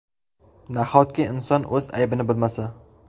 Nahotki inson o‘z aybini bilmasa.